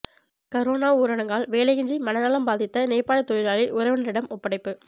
corona ஊரடங்கால் வேலையின்றி மனநலம் பாதித்த நேபாள தொழிலாளி உறவினரிடம் ஒப்படைப்பு